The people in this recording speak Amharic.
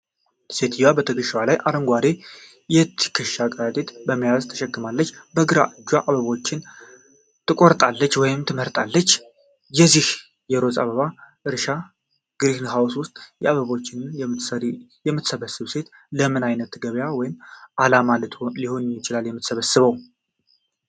ሴትየዋ በትከሻዋ ላይ አረንጓዴ የትከሻ ከረጢት/መያዣ ተሸክማለች፤ በግራ እጇም አበቦችን ትቆርጣለች ወይም ትመርጣለች። በዚህ የሮዝ አበባ እርሻ/ግሪንሃውስ ውስጥ፣ አበቦችን የምትሰበስበው ሴት ለምን አይነት ገበያ ወይም ዓላማ ልትሆን ነው የምትሰበስበው?